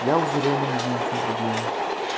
я уже реально не знаю в чём проблема